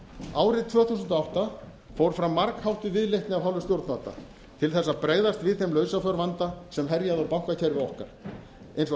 árið tvö þúsund og átta fór fram margháttuð viðleitni af hálfu stjórnvalda til að bregðast við þeim lausafjárvanda sem herjaði á bankakerfi okkar eins og